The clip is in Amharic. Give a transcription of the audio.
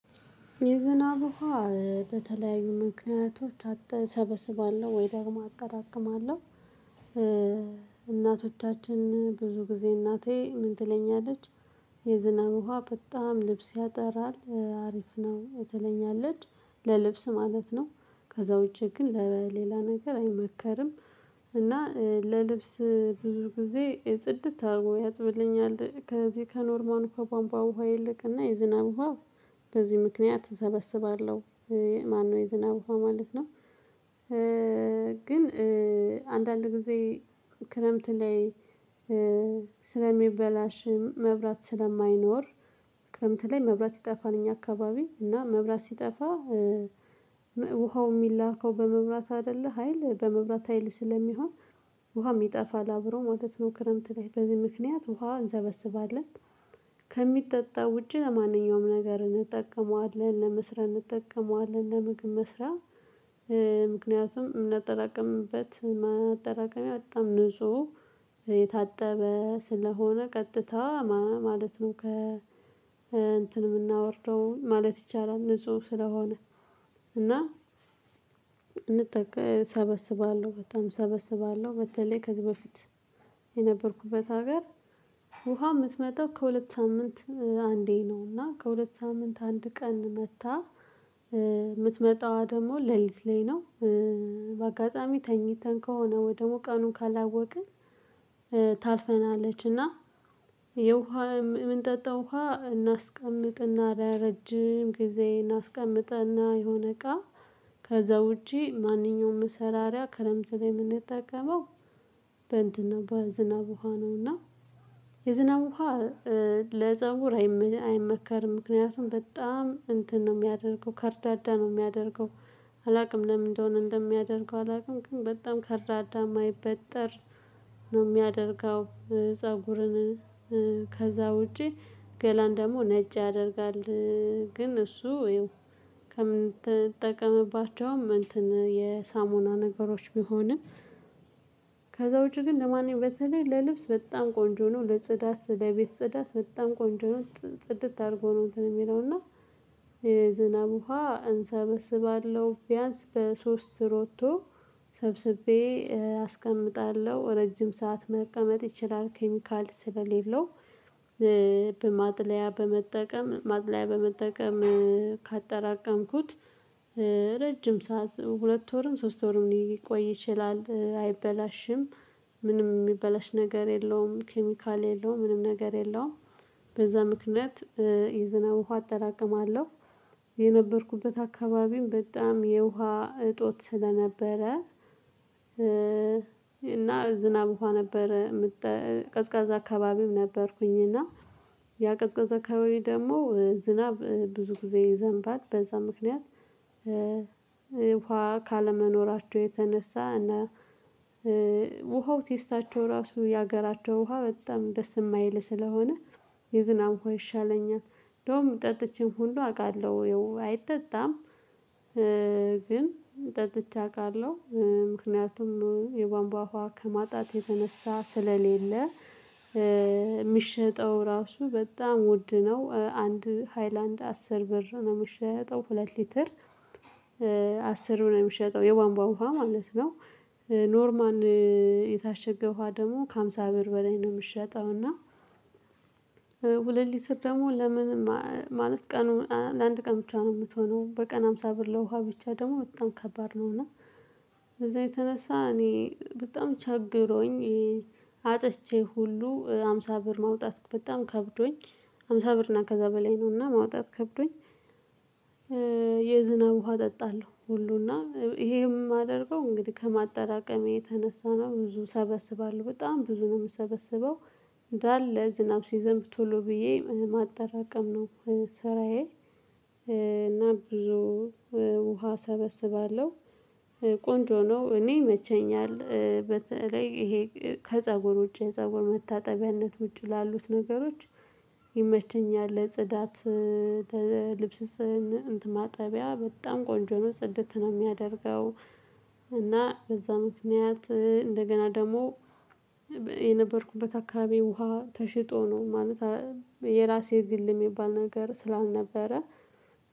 የዝናብ ውሃ በተለያዩ ምክንያቶች እሰበስባለሁ ወይ ደግሞ አጠራቅማለሁ። እናቶቻችን ብዙ ጊዜ እናቴ ምን ትለኛለች? የዝናብ ውሃ በጣም ልብስ ያጠራል አሪፍ ነው ትለኛለች ለልብስ ማለት ነው። ከዛ ውጪ ግን ለሌላ ነገር አይመከርም። እና ለልብስ ብዙ ጊዜ ጽድት አድርጎ ያጥብልኛል ከዚህ ከኖርማሉ ከቧንቧ ውሃ ይልቅ እና የዝናብ ውሃ በዚህ ምክንያት እሰበስባለሁ። ማነው የዝናብ ውሃ ማለት ነው? ግን አንዳንድ ጊዜ ክረምት ላይ ስለሚበላሽም መብራት ስለማይኖር። ክረምት ላይ መብራት ይጠፋል እኛ አከባቢ እና መብራት ሲጠፋ። ውሃው የሚላከው በመብራት አይደለ ሀይል በመብራት ሀይል ስለሚሆን። ውሃም ይጠፋል አብረው ማለት ነው ክረምት ላይ በዚህ ምክንያት ውሃ እንሰበስባለን። ከሚጠጣ ውጪ ለማንኛውም ነገር እንጠቀመዋለን ለመስሪያ እንጠቀመዋለን ለመግብ መስሪያ። ምክንያቱም ምናጠራቅምበት ማጠራቀሚያ በጣም ንጹህ የታጠበ ስለሆነ ቀጥታ ማለት ነው። ከ እንትን ምናወርደው ማለት ይቻላል ንጹህ ስለሆነ። እና እንጠቅ እሰበስባለሁ በጣም እሰበስባለሁ በተለይ ከዚህ በፊት። የነበርኩበት ሀገር ውሃ የምትመጣው ከሁለት ሳምንት አንዴ ነው እና ከሁለት ሳምንት አንድ ቀን መጥታ የምትመጣዋ ደግሞ ለሊት ላይ ነው። በአጋጣሚ ተኝተን ከሆነ ወይ ደግሞ ቀኑን ካላወቅን። ታልፈናለች። እና የውሃ የምንጠጣው ውሃ እናስቀምጥ እና ለረጅም ጊዜ እናስቀምጥ እና የሆነ እቃ ከዛ ውጪ ማንኛውም መሰራሪያ ክረምት ላይ የምንጠቀመው። በእንትን በዝናብ ውሃ ነው እና የዝናብ ውሃ ለፀጉር አይመከርም። ምክንያቱም በጣም እንትን ነው የሚያደርገው ከርዳዳ ነው የሚያደርገው። አላውቅም ለምን እንደሆነ እንደሚያደርገው አላውቅም። ግን በጣም ከርዳዳ የማይበጠር ነው የሚያደርገው ፀጉርን። ከዛ ውጪ ገላን ደግሞ ነጭ ያደርጋል። ግን እሱ ያው ከምንጠቀምባቸውም እንትን የሳሙና ነገሮች ቢሆንም። ከዛ ውጪ ግን ለማንኛውም በተለይ ለልብስ በጣም ቆንጆ ነው ለጽዳት ለቤት ጽዳት በጣም ቆንጆ ነው። ጽድት አድርጎ ነው እንትን የሚለው እና የዝናብ ውሃ እንሰበስባለሁ። ቢያንስ በሶስት ሮቶ ሰብስቤ አስቀምጣለሁ ረጅም ሰዓት መቀመጥ ይችላል ኬሚካል ስለሌለው። በማጥለያ በመጠቀም ማጥለያ በመጠቀም ካጠራቀምኩት። ረጅም ሰዓት ሁለት ወርም ሶስት ወርም ሊቆይ ይችላል አይበላሽም። ምንም የሚበላሽ ነገር የለውም ኬሚካል የለውም ምንም ነገር የለውም። በዛ ምክንያት የዝናብ ውሃ አጠራቅማለሁ። የነበርኩበት አካባቢም በጣም የውሃ እጦት ስለነበረ። እና ዝናብ ውሃ ነበረ። ቀዝቃዛ አካባቢም ነበርኩኝ እና ያ ቀዝቃዛ አካባቢ ደግሞ ዝናብ ብዙ ጊዜ ይዘንባል በዛ ምክንያት። ውሃ ካለመኖራቸው የተነሳ እና ውሃው ቴስታቸው ራሱ የሀገራቸው ውሃ በጣም ደስ የማይል ስለሆነ። የዝናብ ውሃ ይሻለኛል። እንደውም ጠጥቼም ሁሉ አውቃለሁ ያው አይጠጣም። ግን ጠጥቼ አውቃለሁ ምክንያቱም የቧንቧ ውሃ ከማጣት የተነሳ ስለሌለ። የሚሸጠው ራሱ በጣም ውድ ነው አንድ ሃይላንድ አስር ብር ነው የሚሸጠው ሁለት ሊትር። አስር ብር ነው የሚሸጠው የቧንቧ ውሃ ማለት ነው። ኖርማል የታሸገ ውሃ ደግሞ ከሃምሳ ብር በላይ ነው የሚሸጠው እና። ሁለት ሊትር ደግሞ ለምንም ማለት ቀኑ ለአንድ ቀን ብቻ ነው የምትሆነው በቀን ሃምሳ ብር ለውሃ ብቻ ደግሞ በጣም ከባድ ነው። እና ከዛ የተነሳ እኔ በጣም ቸግሮኝ። አጥቼ ሁሉ ሃምሳ ብር ማውጣት በጣም ከብዶኝ። ሃምሳ ብር እና ከዛ በላይ ነው እና ማውጣት ከብዶኝ። የዝናብ ውሃ እጠጣለሁ ሁሉ እና ይሄም ማደርገው እንግዲህ ከማጠራቀሜ የተነሳ ነው ብዙ ሰበስባለሁ በጣም ብዙ ነው የምሰበስበው። እንዳለ ዝናብ ሲዘንብ ቶሎ ብዬ ማጠራቀም ነው። ስራዬ። እና ብዙ ውሃ ሰበስባለሁ። ቆንጆ ነው እኔ ይመቸኛል በተለይ ይሄ ከፀጉር ውጪ የፀጉር መታጠቢያነት ውጪ ላሉት ነገሮች ይመቸኛል። ለጽዳት ልብስ ማጠቢያ በጣም ቆንጆ ነው ጽድት ነው የሚያደርገው። እና በዛ ምክንያት እንደገና ደግሞ የነበርኩበት አካባቢ ውሃ ተሽጦ ነው ማለት የራሴ የግል የሚባል ነገር ስላልነበረ።